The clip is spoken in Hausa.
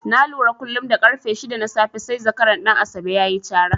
Na lura kullum da ƙarfe shida na safe sai zakaran Ɗan Asabe ya yi cara.